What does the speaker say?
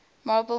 marple miss